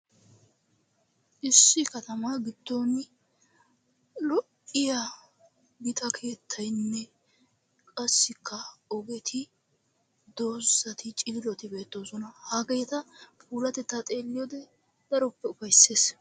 Issi katamaa giddon lo''iya gita keettaynne qassikka ogeti dorssati, ciiroti bettoosona. Hageeta puulatettaa xeeliyode daroppe ufayssees.